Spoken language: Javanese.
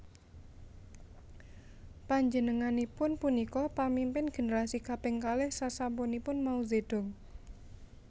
Panjenenganipun punika pamimpin generasi kaping kalih sasampunipun Mao Zedong